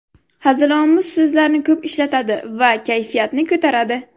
Hazilomuz so‘zlarni ko‘p ishlatadi va kayfiyatni ko‘taradi.